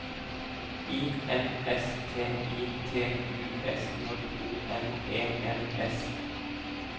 I N S T I T U S J O N E N S